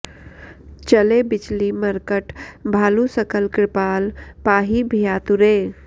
चले बिचलि मर्कट भालु सकल कृपाल पाहि भयातुरे